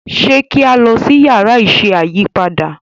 ṣe ki a lọ si Yàrá iṣẹ́ ayípadà?